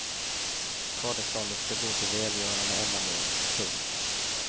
Skadeståndet ska gå till välgörande ändamål. punkt